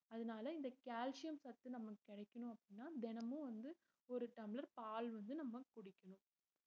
அதனால இந்த கால்சியம் சத்து நமக்கு கிடைக்கணும் அப்படின்னா தினமும் வந்து ஒரு டம்ளர் பால் வந்து நம்ம குடிக்கணும்